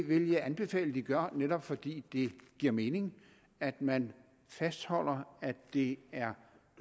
vil jeg anbefale at de gør netop fordi det giver mening at man fastholder at det er